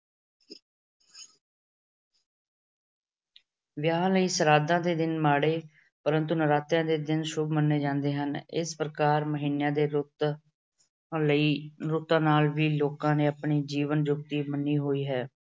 ਵਿਆਹ ਲਈ ਸ਼ਰਾਧਾਂ ਦੇ ਦਿਨ ਮਾੜੇ ਪਰੰਤੂ ਨਰਾਤਿਆਂ ਦੇ ਦਿਨ ਸ਼ੁੱਭ ਮੰਨੇ ਜਾਂਦੇ ਹਨ। ਇਸ ਪ੍ਰਕਾਰ ਮਹੀਨਿਆਂ ਦੇ ਰੁੱਤ ਲਈ ਅਹ ਰੁੱਤਾਂ ਨਾਲ ਵੀ ਲੋਕਾਂ ਨੇ ਆਪਣੀ ਜੀਵਨ ਯੁਕਤੀ ਮੰਨੀ ਹੋਈ ਹੈ।